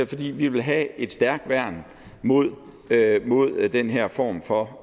fordi vi vil have et stærkt værn mod værn mod den her form for